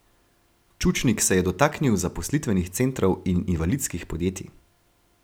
Čučnik se je dotaknil zaposlitvenih centrov in invalidskih podjetij.